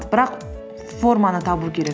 бірақ форманы табу керек